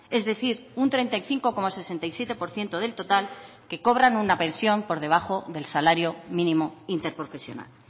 es decir un treinta y cinco coma sesenta y siete por ciento del total que cobran una pensión por debajo del salario mínimo interprofesional